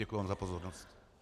Děkuji vám za pozornost.